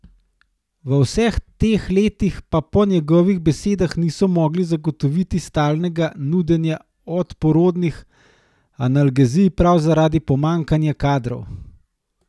V vseh teh letih pa po njegovih besedah niso mogli zagotoviti stalnega nudenja obporodnih analgezij prav zaradi pomanjkanja kadrov.